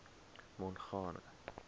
mongane